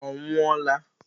Ọ nwụọla?